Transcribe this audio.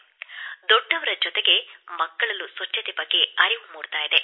ದೊಡ್ಡವರ ಜೊತೆಗೆ ಮಕ್ಕಳಲ್ಲೂ ಸ್ವಚ್ಛತೆ ಬಗ್ಗೆ ಅರಿವು ಮೂಡಿದೆ